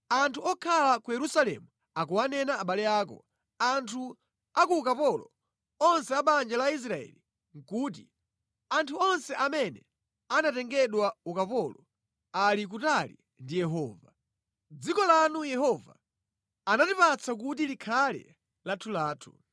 “Anthu okhala ku Yerusalemu akuwanena abale ako, anthu a ku ukapolo, onse a banja la Israeli, kuti, ‘Anthu onse amene anatengedwa ukapolo ali kutali ndi Yehova. Dziko lanu Yehova anatipatsa kuti likhale lathulathu.’ ”